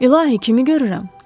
İlahi, kimi görürəm?